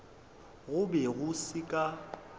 go be go se ka